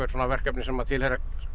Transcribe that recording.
verkefni sem tilheyra